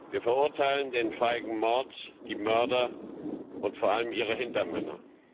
Wir verurteilen den feigen Mord, die Mörder und vor allem ihre Hintermänner.